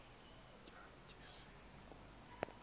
tya tyasini kunye